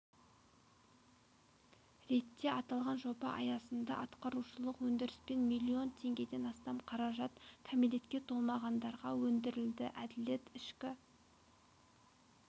ретте аталған жоба аясында атқарушылық өндіріспен миллион теңгеден астам қаражат кәмелетке толмағандарға өндірілді әділет ішкі